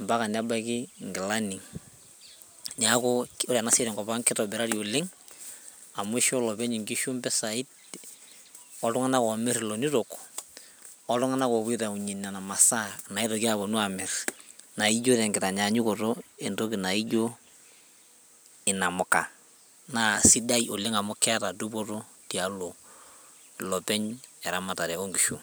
mpaka nebaiki inkilani niaku ore ena siai tenkop ang kitobirari oleng amu isho olopeny inkishu impisai oltung'nak omirr ilonito oltung'anak opuo aitaunyie nena masaa naitoki aponu amirr naijo tenkitanyanyukoto inamuka naa sidai oleng amu keeta dupoto tialo ilopeny eramatare onkishu.